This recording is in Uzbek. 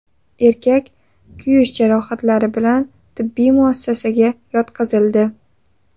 Erkak kuyish jarohatlari bilan tibbiy muassasaga yotqizildi.